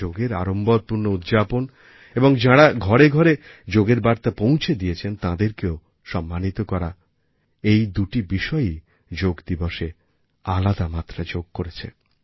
যোগের আড়ম্বরপূর্ণ উদ্যাপন এবংযাঁরা ঘরে ঘরে যোগের বার্তা পৌঁছে দিয়েছেন তাঁদেরকে সম্মানিত করা এই দুটি বিষয়ই যোগ দিবসএ আলাদামাত্রা যোগ করেছে